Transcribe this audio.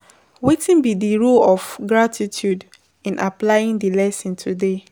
Wetin be di role of gratitude in applying di lesson today?